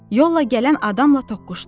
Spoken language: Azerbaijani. Yolla gələn adamla toqquşdu.